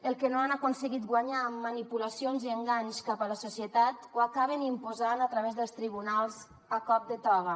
el que no han aconseguit guanyar amb manipulacions i enganys cap a la societat ho acaben imposant a través dels tribunals a cop de toga